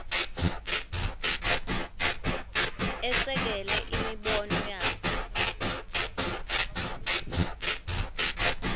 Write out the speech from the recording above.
esekele imibono yakhe